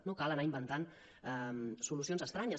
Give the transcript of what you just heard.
no cal anar inventant solucions estranyes